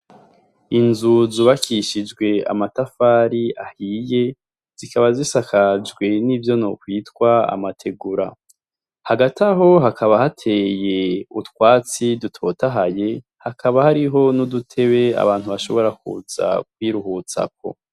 Inzu zubakishijwe amatafari ahiye zikaba zisakajwe nivyo nokwitwa amategura hagati aho hakaba hateye utwatsi dutotahaye hakaba hariho n udutebe abantu bashobora kuza kwiruhutsako.